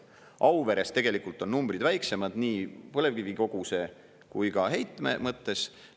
Auveres tegelikult on numbrid väiksemad nii põlevkivikoguse kui ka heitme mõttes.